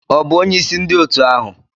Ọ bụ onyeisi ndị otu ahụ?